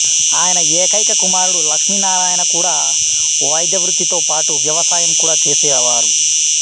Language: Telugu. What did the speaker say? ఆయన ఏకైక కుమారుడు లక్ష్మీనారాయణ కూడా వైద్యవృత్తితో పాటు వ్యవసాయం కూడా చేసేవారు